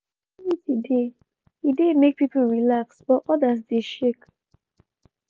as di security dey e dey make people relax but others dey shake.